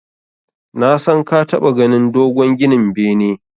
Nasan ka taɓa ganin dogon ginin bene.